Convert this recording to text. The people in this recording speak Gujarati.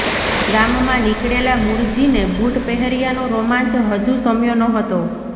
ગામમાં નીકળેલા મૂળજીને બૂટ પહેર્યાનો રોમાંચ હજુ શમ્યો ન હતો